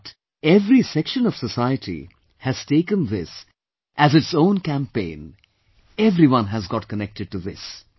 But, every section of society has taken this as its own campaign, everyone has got connected to this